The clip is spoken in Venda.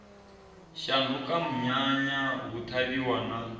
shanduka munyanya hu ṱhavhiwa na